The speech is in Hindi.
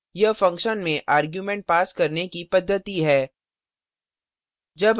यह function में arguments पास करने की पद्धति है